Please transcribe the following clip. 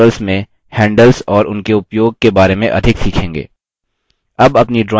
आप बाद के tutorials में handles और उनके उपयोग के बारे में अधिक सीखेंगे